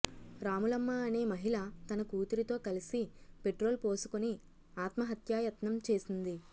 రాములమ్మ అనే మహిళ తన కూతురితో కలిసి పెట్రోలు పోసుకుని ఆత్మహత్యాయత్నం చేసింది